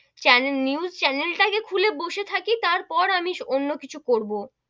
channel, news channel টা যে খুলে বসে থাকি তার পর আমি অন্য কিছু করবো,